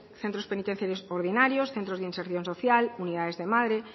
centros penitenciarios ordinarios centros de inserción social unidades de madre